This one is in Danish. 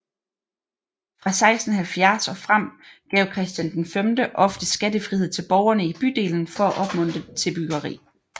Fra 1670 og frem gav Christian V ofte skattefrihed til borgerne i bydelen for at opmuntre til byggeri